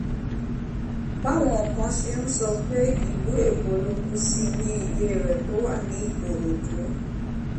báwọn kan ṣe ń sọ pé ìlú èkó ló kù sí nílé rẹ̀ tó wà ní ìkòròdú